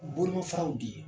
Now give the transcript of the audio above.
Bolomafaraw de ye